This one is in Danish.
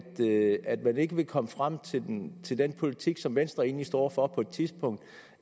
at man ikke vil komme frem til den til den politik som venstre egentlig stod for på et tidspunkt